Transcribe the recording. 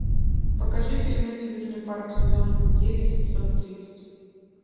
покажи фильмец южный парк сезон девять эпизод тридцать